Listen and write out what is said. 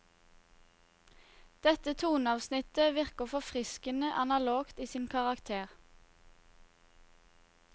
Dette toneavsnittet virker forfriskende analogt i sin karakter.